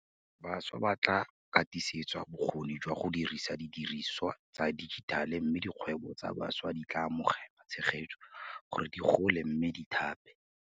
Bašwa ba tla katisediwa bokgoni jwa go dirisa didirisiwa tsa dijitale mme dikgwebo tsa bašwa di tla amogela tshegetso gore di gole mme di thape.